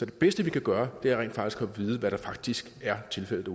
det bedste vi kan gøre rent faktisk at vide hvad der faktisk er tilfældet